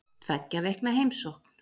Tveggja vikna heimsókn